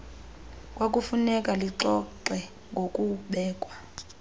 kwakufuneka lixoxe ngokubekwa